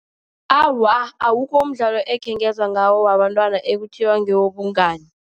Awa, awukho umdlalo ekhengezwa ngawo wabantwana ekuthiwa ngewobungani.